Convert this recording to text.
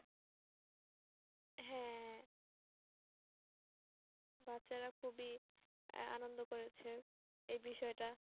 হ্যাঁ, বাচ্চারা খুবই আহ আনন্দ করেছে এই বিষয় টা।